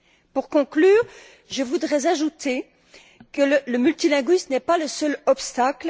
Pour conclure, je voudrais ajouter que le multilinguisme n'est pas le seul obstacle.